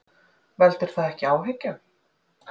Veldur það ekki áhyggjum?